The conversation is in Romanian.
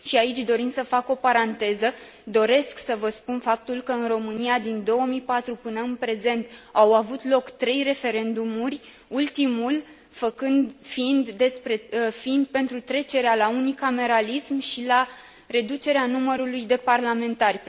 și aici, dorind să fac o paranteză, doresc să vă spun faptul că în România, din 2004 până în prezent, au avut loc trei referendumuri, ultimul fiind pentru trecerea la unicameralism și reducerea numărului de parlamentari.